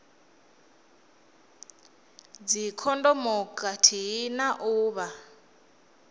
dzikhondomu khathihi na u vha